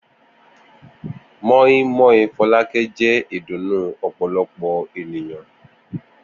moin-moin Fọlákẹ́ jẹ́ ìdùnnú ọ̀pọ̀lọpọ̀ ènìyàn.